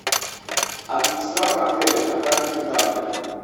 администратор отеля контактные данные